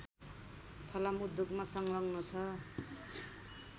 फलाम उद्योगमा संलग्न छ